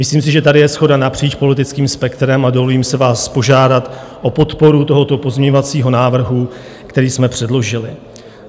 Myslím si, že tady je shoda napříč politickým spektrem, a dovolím si vás požádat o podporu tohoto pozměňovacího návrhu, který jsme předložili.